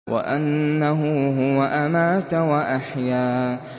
وَأَنَّهُ هُوَ أَمَاتَ وَأَحْيَا